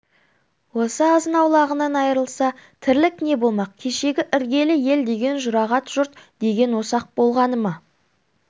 осы азынаулағынан айрылса тірлік не болмақ кешегі іргелі ел деген жұрағат жұрт деген осы-ақ болғаны ма